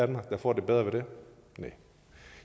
der får det bedre af det næh og